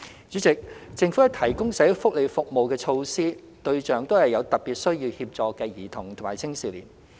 主席，政府提供的社會福利服務和措施，對象都是有特別需要協助的兒童及青少年。